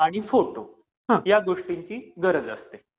आणि फोटो, या गोष्टींची गरज असते.